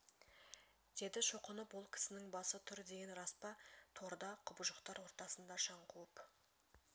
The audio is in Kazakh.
деді шоқынып ол кісінің басы тұр деген рас па торда құбыжықтар ортасында шаң қауып